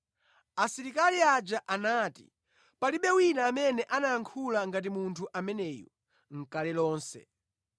Asilikali aja anati, “Palibe wina amene anayankhula ngati Munthu ameneyo nʼkale lonse.”